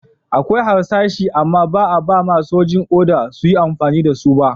Akwai harsashi amma ba'a ba'ma sojin oda su yi amfani da su ba.